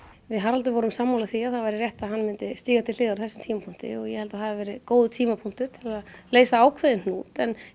við Haraldur vorum sammála því að það væri réttast að hann myndi stíga til hliðar á þessum tímapunkti og ég held að það hafi verið góður tímapunktur til að leysa ákveðinn hnút